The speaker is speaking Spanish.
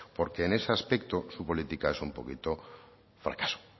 porque en ese aspecto su política es un poquito fracaso